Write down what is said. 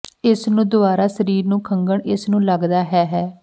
ਇਸ ਨੂੰ ਦੁਆਰਾ ਸਰੀਰ ਨੂੰ ਖੰਘਣ ਇਸ ਨੂੰ ਲੱਗਦਾ ਹੈ ਹੈ